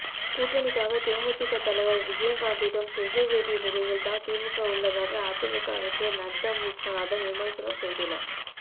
கூட்டணிக்காக தேமுதிக தலைவர் விஜயகாந்திடம் கெஞ்ச வேண்டிய நிலையில்தான் திமுக உள்ளதாக அதிமுக அமைச்சர் நத்தம் விஸ்வநாதன் விமர்சனம் செய்துள்ளார்